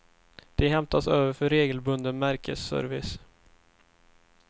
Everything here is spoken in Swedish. De hämtas över för regelbunden märkesservice.